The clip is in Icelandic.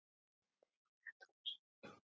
Þau eiga tvo syni.